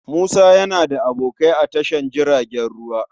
Musa yana da aboki a tashar jiragen ruwa.